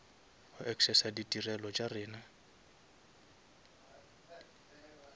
go accessa ditirelo tša rena